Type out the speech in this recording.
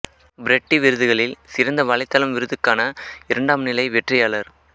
Freddy விருதுகளில் சிறந்த வலைத்தளம் விருதுக்கான இரண்டாம் நிலை வெற்றியாளர்